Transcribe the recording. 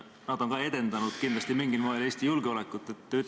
Nad on ka kindlasti mingil moel Eesti julgeolekut edendanud.